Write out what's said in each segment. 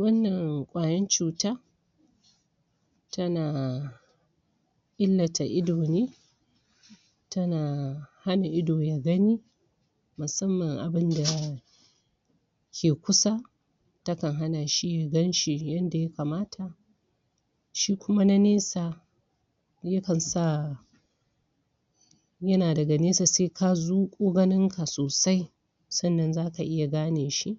Wannan ƙwayan cuta tana illata ido ne tana hana ido ya gani musamman abinda ya yake kusa takan hana shi ya gan shi yadda ya kamata. shi kuma na nesa yakan sa yana daga nesa sai ka zuƙo ganinka sosai sannan za ka iya gane shi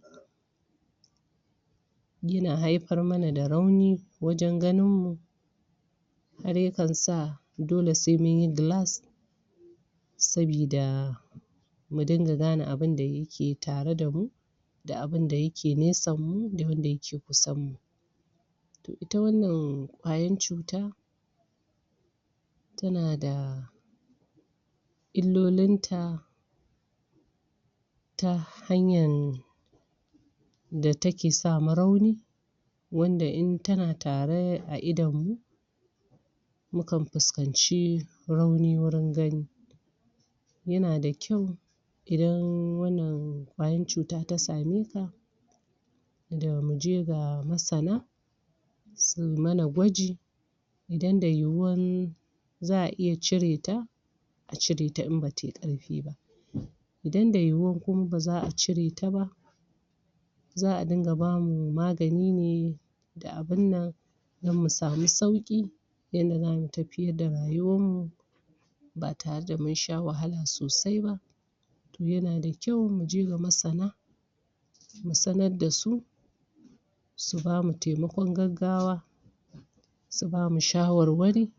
yana haifar mana da rauni wajen ganinmu dare kan sa dole sai mun yi glass sabida mu dinga gane abin da ke tare da mu da abin da yake nesanmu da wanda yake kusanmu. To ita wannanƙwayan cuta tana da illolinta ta hanyar da take sama rauni wanda in tana tare a idonmu mukan fuskanci rauni wajen gani yana da ƙyau idan wanna ƙwayan cuta ta same ka. da mu je ga masana su yi mana gwaji idan da yiwuwar za a iya cire ta a cire ta in ba ta yi ƙarfi ba, idan da yiwuwar kuma ba za a cire ta ba za a dinga ba mu magani ne da abun nan don mu samu sauƙi yadda zamu tafiyar da rayuwarmu ba tare da mun sha wahala sosai ba. to yana da kyau mu je ga masana mu sanar da su su ba mu taimakon gaggawa su ba mu shawarwari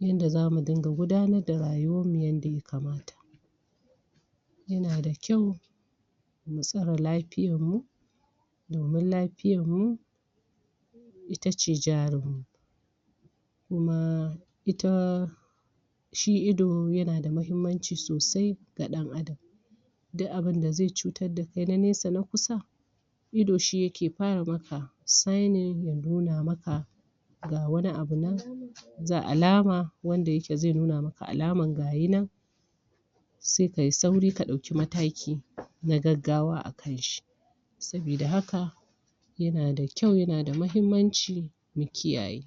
yanda za mu dinga gudanar da rayuwarmu yadda ya kamata yana da kyau mu tsare lafiyarmu domin lafiyarmu ita ce jarinmu kuma ita shi ido yana da muhimmanci sosai ga ɗan'adam duk abunda zai cutar da kai na neasa na kusa ido shi yake fara maka sightning ya nuna maka ga wani abu nan ga alama nan ga alama wanda yake zai nuna maka alaman gaya nan sai ka yi sauri ka ɗauki mataki na gaggawa a kan shi sabida haka yana da kyau yana da muhimmanci mu kiyaye.